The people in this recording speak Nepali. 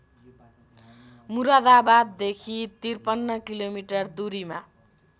मुरादाबाददेखि ५३ किलोमिटर दूरीमा